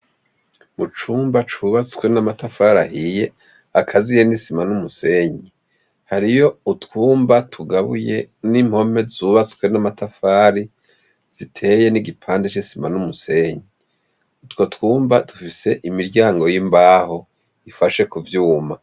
Mucumba cubatswe namatafari ahiye akaziye n'isima n'umusenyi hariyo utwumba tugabuye n'impome zubatswe namatafari ziteye nigipande c'isima numusenyi, utwo twumba dufise imiryango y'imbaho ifashe kuvyuma